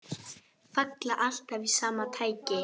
Falla alltaf í sama takti.